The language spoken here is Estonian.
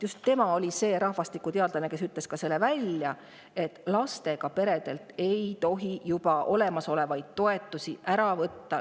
Just tema oli see rahvastikuteadlane, kes ütles välja, et lastega peredelt ei tohi olemasolevaid toetusi ära võtta.